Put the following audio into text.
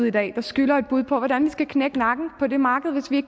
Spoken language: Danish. i dag skylder et bud på hvordan vi skal knække nakken på det marked hvis vi